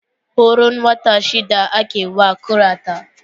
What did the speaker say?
Horon wata shida ake wa kurata